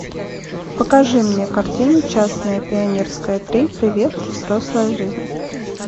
покажи мне картину частное пионерское три привет взрослая жизнь